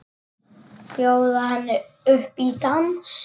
Bjóða henni upp í dans!